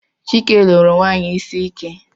Chike lụru nwanyị isi ike